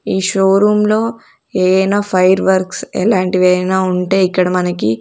ఈ showroom లో ఏయైన ఫైర్ వర్క్స్ ఎలాంటివైనా ఉంటే ఇక్కడ మనకి--